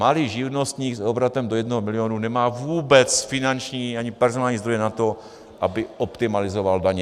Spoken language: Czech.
Malý živnostník s obratem do jednoho milionu nemá vůbec finanční ani personální zdroje na to, aby optimalizoval daně.